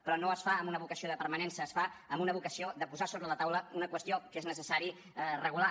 però no es fa amb una vocació de permanència es fa amb una vocació de posar sobre la taula una qüestió que és necessària de regular